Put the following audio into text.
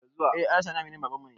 Eh alhaji sani aminin babanmu ne